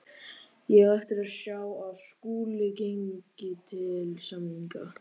Ég á eftir að sjá að Skúli gangi til samninga.